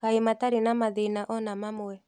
Kaĩ matarĩ na mathĩna ona mamwe?